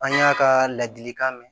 An y'a ka ladilikan mɛn